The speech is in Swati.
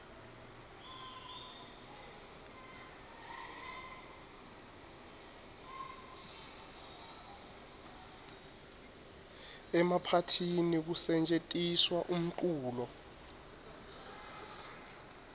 emaphathini kusetjentiswa umculo